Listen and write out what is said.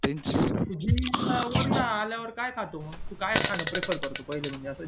gym वरून आल्यावर काय खातो मग तू काय खान prefare करतो पहिलं म्हणजे असं